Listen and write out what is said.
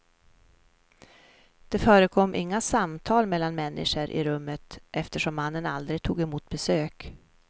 Det förekom inga samtal mellan människor i rummet, eftersom mannen aldrig tog emot besök.